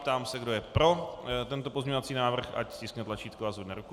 Ptám se, kdo je pro tento pozměňovací návrh, ať stiskne tlačítko a zvedne ruku.